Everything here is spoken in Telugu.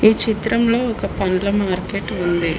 ఈ చిత్రంలో ఒక పండ్ల మార్కెట్ ఉంది.